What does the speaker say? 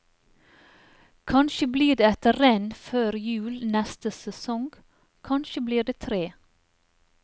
Kanskje blir det ett renn før jul neste sesong, kanskje blir det tre.